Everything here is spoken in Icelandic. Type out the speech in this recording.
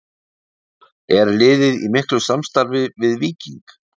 Er liðið í miklu samstarfi við Víking?